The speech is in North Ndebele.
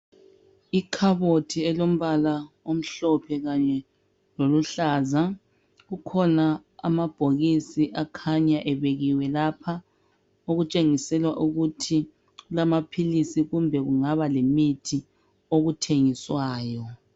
Ikhabothi elombala omhlophe kanye loluhlaza. Kukhona amabhokisi akhanya ebekiwe lapha okutshengisela ukuthi kulamaphilisi kumbe kungaba lemithi okuthengiswayo.